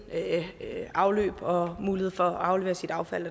afløb og mulighed for at aflevere sit affald